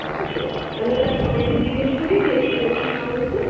ঠিক আছে তাহলে যাই সবাইকে জিজ্ঞেস করি কে কি বলছে না বলছে